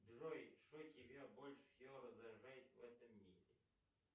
джой что тебя больше всего раздражает в этом мире